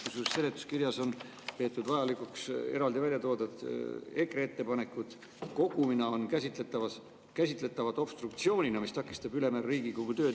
Kusjuures seletuskirjas on peetud vajalikuks märkida, eraldi on välja toodud, et EKRE ettepanekud kogumina on käsitletavad obstruktsioonina, mis takistab ülejäänud Riigikogu tööd.